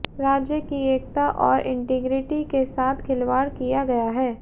राज्य की एकता और इंटिग्रिटी के साथ खिलवाड़ किया गया है